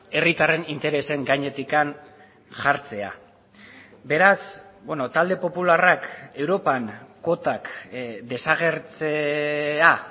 herritarren interesen gainetik jartzea beraz talde popularrak europan kuotak desagertzea